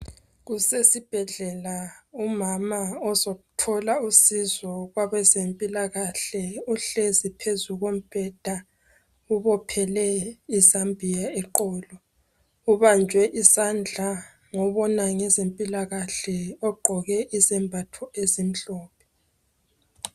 Kusesibhedlela umama uzothola usizo kwabezempilakahle uhlezi phezu kombheda ubophele i"zambia" eqolo. Ubanjwe isandla ngobona ngezempilakahle ogqoke izembatho ezimhlophe.